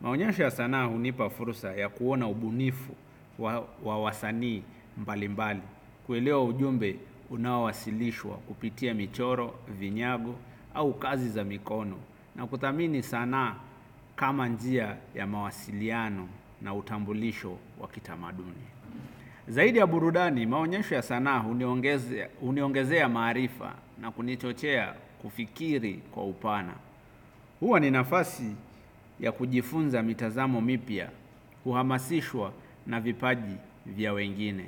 Maonyesho ya sanaa hunipa fursa ya kuona ubunifu wao wa wasanii mbalimbali kuelewa ujumbe unaowasilishwa kupitia michoro, vinyago au kazi za mikono. Na kuthamini sanaa kama njia ya mawasiliano na utambulisho waki tamaduni. Zaidi ya burudani maonyesho ya sanaa huniongezea maarifa na kunichochea kufikiri kwa upana. Huwa ni nafasi ya kujifunza mitazamo mipyia, kuhamasishwa na vipaji vya wengine.